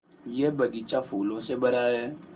यह बग़ीचा फूलों से भरा है